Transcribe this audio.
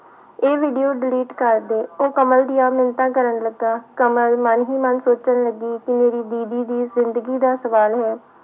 ਇਹ video delete ਕਰ ਦੇ, ਉਹ ਕਮਲ ਦੀਆਂ ਮਿੰਨਤਾਂ ਕਰਨ ਲੱਗਾ, ਕਮਲ ਮਨ ਹੀ ਮਨ ਸੋਚਣ ਲੱਗੀ ਕਿ ਮੇਰੀ ਦੀਦੀ ਦੀ ਜ਼ਿੰਦਗੀ ਦਾ ਸਵਾਲ ਹੈ।